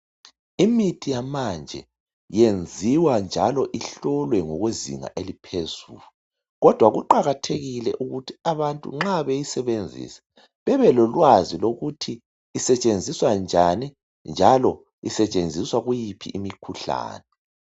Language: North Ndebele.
Imithi yamanje yenziwa njalo ihlolwe kwezinga eliphezulu kodwa kuqakathekile ukuthi abantu nxa beyisebenzisa bebelolwazi lokuthi isetshenziswa njani njalo isetshenziswa kuyiphi imkhuhlane.